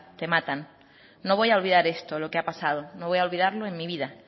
te matan no voy a olvidar esto lo que ha pasado no voy a olvidarlo en mi vida